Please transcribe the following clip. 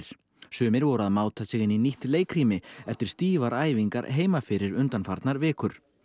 sumir voru að máta sig inn í nýtt leikrými eftir stífar æfingar heima fyrir undanfarnar vikur